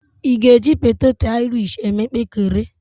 Ị́ ga-eji poteto airish eme mpekere?